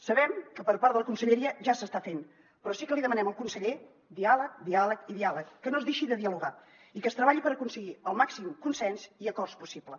sabem que per part de la conselleria ja s’està fent però sí que li demanem al conseller diàleg diàleg i diàleg que no es deixi de dialogar i que es treballi per aconseguir el màxim consens i acords possibles